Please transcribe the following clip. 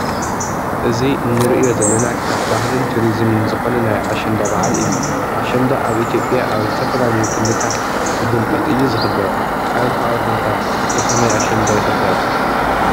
እዚ እንረእዮ ዘለና ካብ ባህልን ቱሪዝመን ዝኮነ ናይ ኣሸንዳ በዓል እዩ። ኣሸንዳ ኣብ ኢትዮጵያ ኣብ ዝተፈላለዮ ክልታት ብድምቀት እዩ ዝክበር። ኣብ ከባቢኩም ከ ብ ከመይ ኣሸንዳ ይክበር?